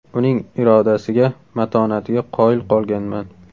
Uning irodasiga, matonatiga qoyil qolganman.